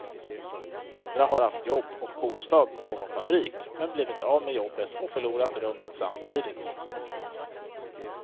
Andra har haft jobb och bostad på någon fabrik, men blivit av med jobbet och förlorat rummet samtidigt.